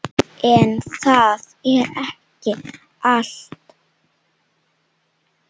En það er ekki allt.